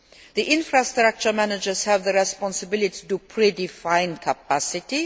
The infrastructure managers have the responsibility to predefine capacity.